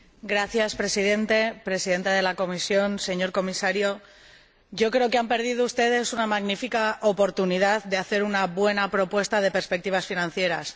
Señora Presidenta, señor Presidente de la Comisión, señor Comisario, creo que han perdido ustedes una magnífica oportunidad de hacer una buena propuesta de perspectivas financieras.